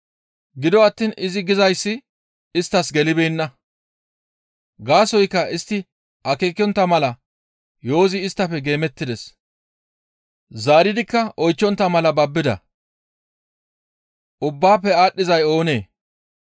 Gido attiin izi gizayssi isttas gelibeenna. Gaasoykka istti akeekontta mala yo7ozi isttafe geemettides; zaaridikka oychchontta mala babbida.